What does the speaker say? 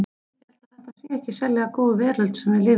Ég held að þetta sé ekki sérlega góð veröld sem við lifum í.